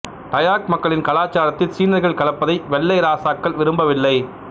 டயாக் மக்களின் கலாச்சாரத்தில் சீனர்கள் கலப்பதை வெள்ளை இராசாக்கள் விரும்பவில்லை